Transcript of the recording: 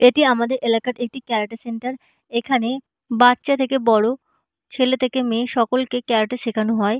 এটি আমাদের এলাকার একটি ক্যাব়াটে সেন্টার এখানে বাচ্চা থেকে বড় ছেলে থেকে মেয়ে সকলকে ক্যাব়াটে শেখানো হয়।